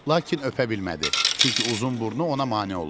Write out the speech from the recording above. Lakin öpə bilmədi, çünki uzun burnu ona mane olurdu.